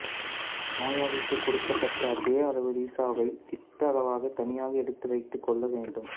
நோயாளிக்குக் கொடுக்கப்பட்ட அதே அளவு ரீசாவை திட்ட அளவாக தனியாக எடுத்து வைத்துக் கொள்ள வேண்டும்